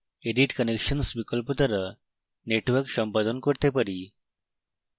edit connections বিকল্প দ্বারা networks সম্পাদন করতে পারি